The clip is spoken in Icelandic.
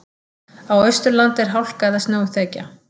Á Austurlandi er hálka eða snjóþekja